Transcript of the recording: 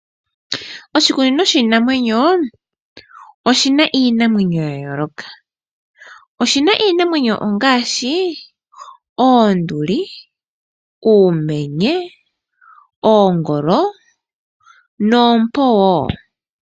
Oshikunino shinamwenyo oshina iinamwenyo yayooloka oshina iinamwenyo ngaashi oonduli, uumenye, oongolo noompo wo.